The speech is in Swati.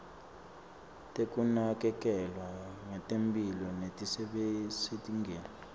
tekunakekelwa ngetemphilo letisezingeni